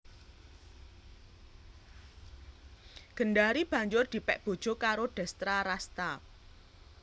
Gendari banjur dipèk bojo karo Destrarasta